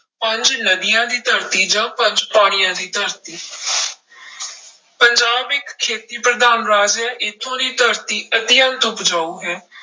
ਪੰਜ ਨਦੀਆਂ ਦੀ ਧਰਤੀ ਜਾਂ ਪੰਜ ਪਾਣੀਆਂ ਦੀ ਧਰਤੀ ਪੰਜਾਬ ਇੱਕ ਖੇਤੀ ਪ੍ਰਧਾਨ ਰਾਜ ਹੈ ਇੱਥੋਂ ਦੀ ਧਰਤੀ ਅਤਿਅੰਤ ਉਪਜਾਊ ਹੈ।